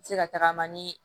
Se ka tagama ni